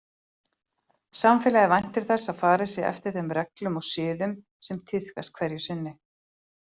Samfélagið væntir þess að farið sé eftir þeim reglum og siðum sem tíðkast hverju sinni.